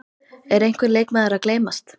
Er einhver leikmaður að gleymast?